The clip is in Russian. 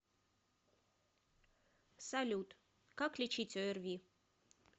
салют как лечить орви